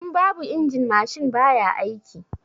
In babu injin mashin baya aiki